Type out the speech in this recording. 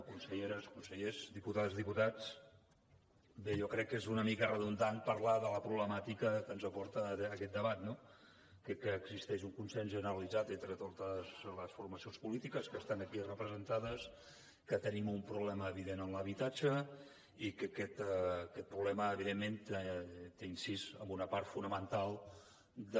conselleres consellers diputades diputats bé jo crec que és una mica redundant parlar de la problemàtica que ens aporta aquest debat no crec que existeix un consens generalitzat entre totes les formacions polítiques que estan aquí representades que tenim un problema evident amb l’habitatge i que aquest problema evidentment té incidència en una part fonamental de